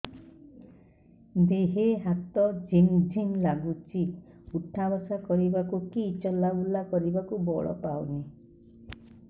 ଦେହେ ହାତ ଝିମ୍ ଝିମ୍ ଲାଗୁଚି ଉଠା ବସା କରିବାକୁ କି ଚଲା ବୁଲା କରିବାକୁ ବଳ ପାଉନି